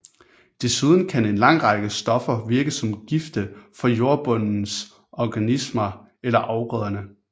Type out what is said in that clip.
Desuden kan en lang række stoffer virke som gifte for jordbundens organismer eller afgrøderne